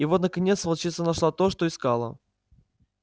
и вот наконец волчица нашла то что искала